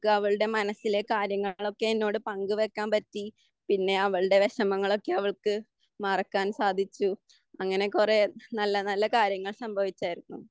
അവളുടെ മനസ്സിലേക്ക് കാര്യങ്ങളൊക്കെ എന്നോട് പങ്കു വെക്കാൻ പറ്റി. പിന്നെ അവളുടെ വിഷമങ്ങളൊക്കെ അവൾക്ക് മറക്കാൻ സാധിച്ചു. അങ്ങനെ കുറേ നല്ല നല്ല കാര്യങ്ങൾ സംഭവിച്ചാർന്നു.